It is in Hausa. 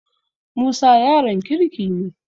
Musa yaron kirki ne.